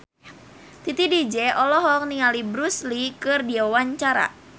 Titi DJ olohok ningali Bruce Lee keur diwawancara